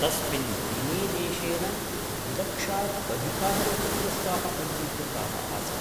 तस्मिन् दिनेदेशेन द्विलक्षात् अधिकाः रोगग्रस्ताः पञ्जीकृताः आसन्।